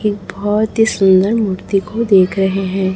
एक बहोत ही सुंदर मूर्ति को देख रहें हैं।